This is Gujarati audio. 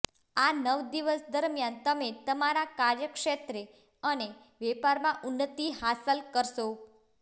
આ નવ દિવસ દરમિયાન તમે તમારા કાર્યક્ષેત્રે અને વેપારમાં ઉન્નતિ હાંસલ કરશો